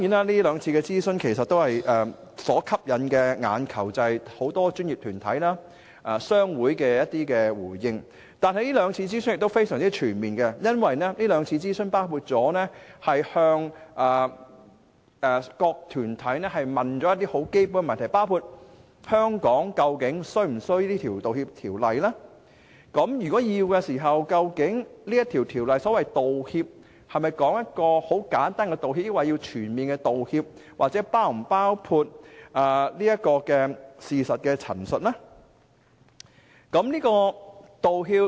這兩次諮詢所吸引的雖是眾多專業團體和商會的回應，但亦非常全面，因為當局在兩次諮詢期間向這些團體提出了一些很基本的問題，包括香港究竟是否有需要訂立《條例草案》；如果有此需要，《條例草案》所指的道歉是簡單的道歉還是全面的道歉，又或是否包括事實陳述？